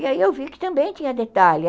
E aí eu vi que também tinha detalhe.